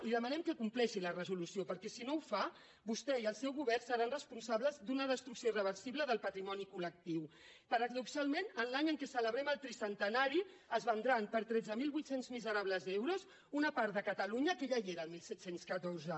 li demanem que compleixi la resolució perquè si no ho fa vostè i el seu govern seran responsables d’una destrucció irreversible del patrimoni col·centenari es vendran per tretze mil vuit cents miserables euros una part de catalunya que ja hi era el disset deu quatre